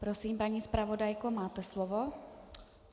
Prosím, paní zpravodajko, máte slovo.